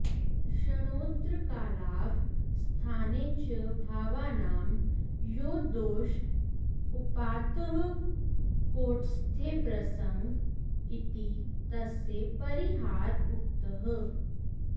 क्षणोत्तरकालावस्थाने च भावानां यो दोष उपात्तः कौटस्थ्यप्रसंग इति तस्य परिहार उक्तः